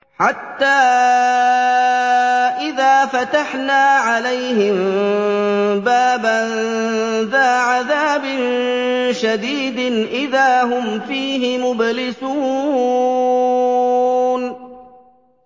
حَتَّىٰ إِذَا فَتَحْنَا عَلَيْهِم بَابًا ذَا عَذَابٍ شَدِيدٍ إِذَا هُمْ فِيهِ مُبْلِسُونَ